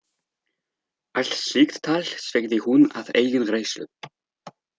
Allt slíkt tal sveigði hún að eigin reynslu.